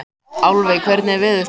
Álfey, hvernig er veðurspáin?